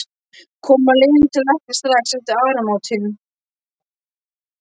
Koma Lenu til læknis strax eftir áramótin.